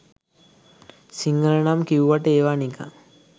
සිංහල නම් කිව්වට ඒවා නිකං